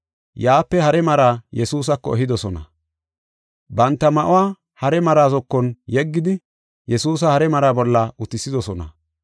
Yaape hare maraa Yesuusako ehidosona. Banta ma7uwa hare maraa zokon yeggidi Yesuusa hare maraa bolla utisidosona.